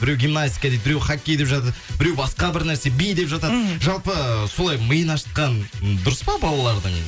біреу гимнастика дейді біреу хоккей деп жатады біреу басқа бір нәрсе би деп жатады мхм жалпы солай миын ашытқан дұрыс па балалардың